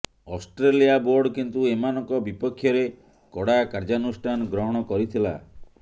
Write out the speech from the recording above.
Australia board କିନ୍ତୁ ଏମାନଙ୍କ ବିପକ୍ଷରେ କଡ଼ା କାର୍ଯ୍ୟାନୁଷ୍ଠାନ ଗ୍ରହଣ କରିଥିଲା